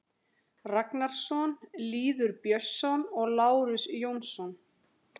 Ragnarsson, Lýður Björnsson og Lárus Jónsson.